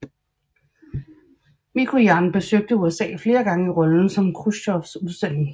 Mikojan besøgte USA flere gange i rollen som Khrusjtjovs udsending